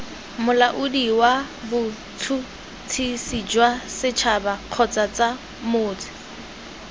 molaodi wabots huts hisijwasets habakgotsamots